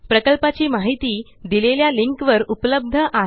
प्रकल्पाची माहिती दिलेल्या लिंकवर उपलब्ध आहे